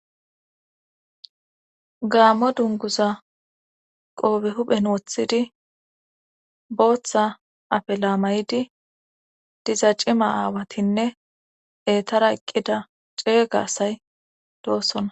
gaammo dunguza qoobe huphen woththidi booththa afe laamaydi diza cima aawatinne etara eqqida ceeyga asay doosonna